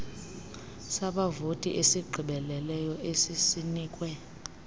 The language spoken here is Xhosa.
sabavoti esigqibeleleyo esisinikwe